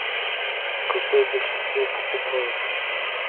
какое больше всего покупают